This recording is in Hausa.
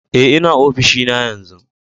Eh, n'na ofishin na yanzu.